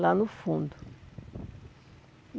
Lá no fundo.